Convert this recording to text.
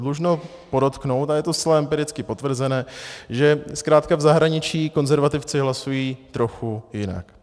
Dlužno podotknout, a je to zcela empiricky potvrzené, že zkrátka v zahraničí konzervativci hlasují trochu jinak.